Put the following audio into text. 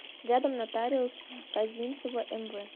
рядом нотариус козинцева мв